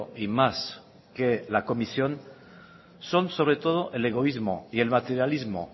y más que la comisión son sobre todo el egoísmo y el materialismo